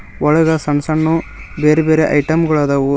ಉಳಿದ ಸಣ್ ಸಣ್ಣವು ಬೇರೆ ಬೇರೆ ಐಟಂಗಳುದಾವು.